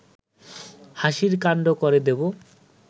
হাসির কাণ্ড করে দেব